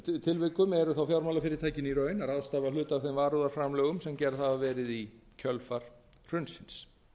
tilvikum eru þó fjármálafyrirtækin í raun að ráðstafa hluta af þeim varúðarframlögum sem gerð hafa verið í kjölfar hrunsins